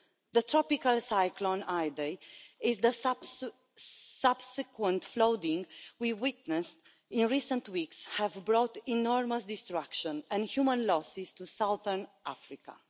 The tropical cyclone Idai and the subsequent flooding we witnessed in recent weeks have brought enormous destruction and human losses to southern Africa.